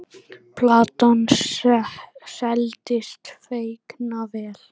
Platan seldist feikna vel.